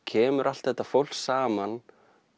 kemur alt þetta fólk saman